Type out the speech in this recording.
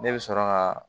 Ne bɛ sɔrɔ ka